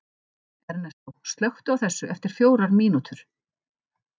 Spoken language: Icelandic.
Ernestó, slökktu á þessu eftir fjórar mínútur.